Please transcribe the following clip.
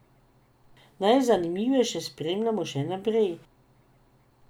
Najzanimivejše spremljamo še naprej.